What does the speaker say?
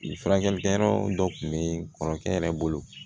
I furakɛli kɛyɔrɔ dɔ tun bɛ kɔrɔkɛ yɛrɛ bolo